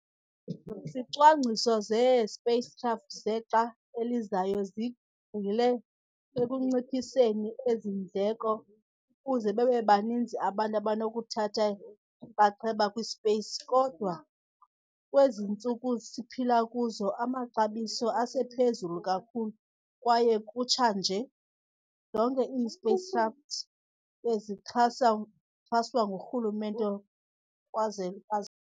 Izicwangciso zee-spacecraft zexa elizayo zigxile ekunciphiseni ezi ndleko ukuze babebaninzi abantu abanokuthatha inxaxheba kwi-space. kodwa kwezi ntsuku siphila kuzo, amaxabiso asephezulu kakhulu, kwaye kutsha nje, zonke ii-spacecraft bezixhaswa ngurhulumente kwaze kaze.